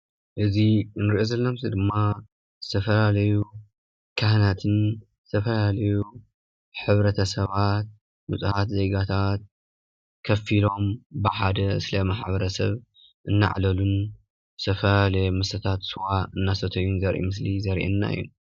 እዚ እንሪኦ ዘለና ምስሊ ድማ ዝተፈላለዩ ካህናትን ዝተፈላለዩ ሕብረተሰባትን ንፁሃት ዜጋታት ኮፍ ኢሎም ብሓደ ስለ ማሕበረሰብ እናዕለሉን ዝተፈላለየ መስተታት ስዋ እናሰተዩን ዘርኢ ምስሊ ዘርኤና እዩ፡፡